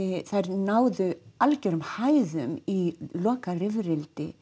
náðu algerum hæðum í